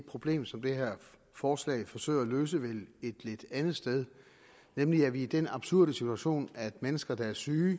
problem som det her forslag forsøger at løse vel lidt et andet sted nemlig at vi er i den absurde situation at mennesker der er syge